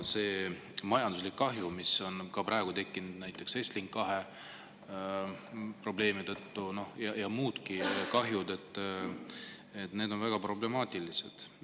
Majanduslik kahju, mis on praegu tekkinud näiteks Estlink 2 probleemi tõttu, ja muudki kahjud on väga problemaatilised.